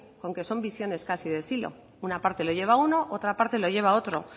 con que son visiones casi de silo una parte lo lleva uno y otra parte lo lleva otro